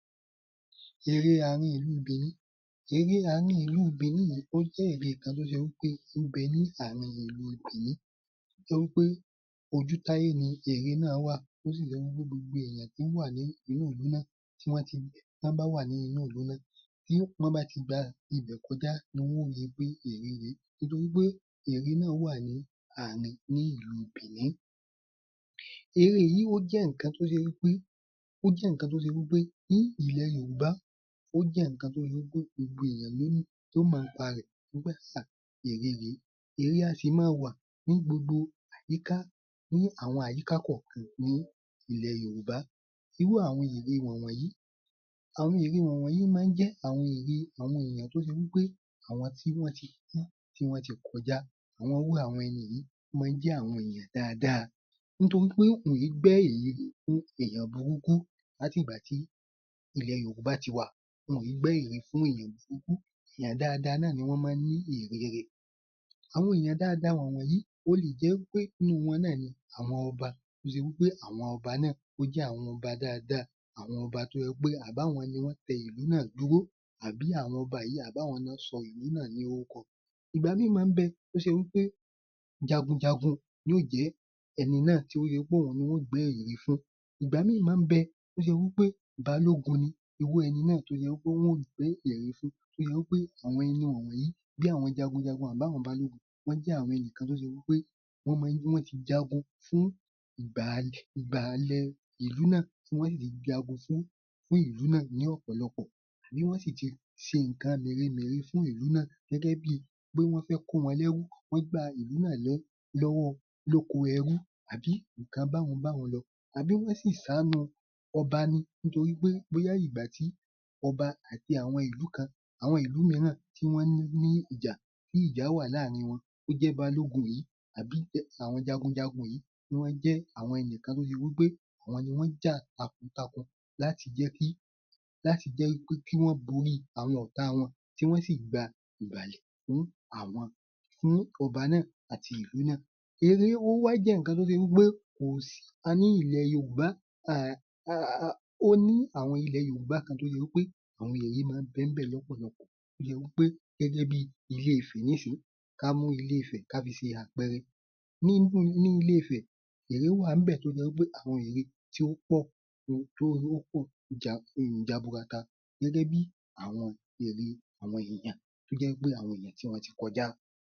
Ère àárín ìlú Bìíní: Ère àárín ìlú Bìíní yìí ó jẹ́ ère kan tó ṣe wí pé ń bẹ ní àárín ìlú Bìíní, tó jẹ́ wí pé ojútáyé ni ère náà wà tó sì jẹ́ wí pé gbogbo èèyàn tó wà nínú ìlú náà, tí wọ́n ti, tọ́n bá wà ní inú ìlú náà tọ́n bá ti gba ibẹ̀ kọjá ni wọn ó ri pé ère yìí, nítorí pé ère náà wá ní àárín ní ìlú Bìíní. Ère yìí ó jẹ nǹkan tó ṣe wí pé, ó jẹ́ nǹkan tó ṣe wí pé ní ilẹ̀ Yorùbá ó jẹ nǹkan tí ó jẹ pé gbogbo èèyàn ló mọ̀ ńpa rẹ̀ àṣà Ère yìí, Ère a sì máa wà ní gbogbo àyíká, ní àwọn àyíká kọ̀ọ̀kan ní ilẹ̀ Yorùbá, irú àwọn ère wọ̀n wọ̀nyí, àwọn ère wọn wọ̀nyí máa ń jẹ àwọn èèyàn tó ṣe wí pé àwọn tí wọn tí kú tí wọn tí kọjá, àwọn irú àwọn ẹni yìí ń máa ń jẹ àwọn èèyàn dáadáa nítorí pé kò ní gbẹ́ ère èèyàn burúkú láti ìgbà tí ilẹ̀ Yorùbá tí wà, nítorí wọn ì í gbẹ́ ère fún èèyàn burúkú láti ìgbà tí ilẹ̀ Yorùbá ti wà, wọn ì í gbẹ́ ère fún èèyàn burúkú èèyàn dáadáa náà ni wọ́n máa ń ní ère rẹ̀. Àwọn èèyàn dáadáa wọn wọ̀nyí, ó lé jẹ wí pé nínú wọn náà ni àwọn Ọba, tó ṣe wí pé àwọn Ọba náà ó jẹ àwọn Ọba dáadáa, àwọn Ọba tí ó jẹ pé àbí àwọn ló tẹ ìlú náà dúró àbí àwọn Ọba yìí àwọn ni wọn sọ ìlú náà lórúkọ. Ìgbà míì máa ń bẹ tí ó ṣe wí pé, jagunjagun ni ó jẹ ẹni náà tí ó ṣe í pé òun ni wọn yóò gbé ère fún. Ìgbà míì máa ń bẹ tí ó ṣe wí pé, Balógun ni irú ẹni náà tó ṣe wí pé wọn ó gbé ère fún tí ó jẹ wí pé, àwọn ẹni wọ̀n wọ̀nyí, bí àwọn Jagunjagun àbí àwọn Balógun wọ́n jẹ́ àwọn ẹnìkan tí ó ṣe wí pé wọ́n máa ń, wọ́n tí jagun fún ìgbà, ìgbà ìlú náà tí wọn ṣi yé jagun fún ìlú náà ni ìlú náà ni ọ̀pọ̀lọpọ̀ tí wọn sì ti ṣe nǹkan mèremère fún ìlú náà gẹ́gẹ́ bí pé wọn fẹ kó wọn lẹ́rú, wọ́n gba ìlú náà lọ́wọ́ lóko ẹrú àbí nǹkan báhun báhun yẹn lọ. Àbí wọn sí ṣàánú ọba ní nítorí pé ìgbà tí ọba àti àwọn ìlú kan àwọn ìlú mìíràn tí wọn ní ìjà tí ìjà wá láàárín wọn, tí ó jẹ Balógun yìí, àbí àwọn Jagunjagun yìí ni wọ́n jẹ́ àwọn ẹnìkan tí ó ṣe wí pé àwọn ni wọn jà takuntakun láti jẹ kí, láti jẹ́ wí pé kí won borí àwọn ọ̀tá wọn, tí wọn sì gba fún àwọn, fún ọba nàá àti ìlú náà. Ère ó wá jẹ nǹkan tó ṣe wí pé kò sí, a ní ilẹ̀ Yorùbá ó ní àwọn ilé Yorùbá kan tí ó ṣe wí pé àwọn ère máa ń bẹ ńbẹ̀ lọ́pọ̀lọ́pọ̀, tó jẹ wí pé gẹ́gẹ́ bí Ilé-Ifè nísìnyí, ká mú Ilé-Ifè ká fi ṣe àpẹẹrẹ, nínú ní Ilé-Ifè ère wà ńbẹ̀ tó ṣe wí jẹ pé àwọn ère tí ó pọ̀ Jaburata gẹ́gẹ́ bí àwọn Ère àwọn èèyàn, tí ó jẹ wí pé àwọn èèyàn tí wọ́n ti kọjá.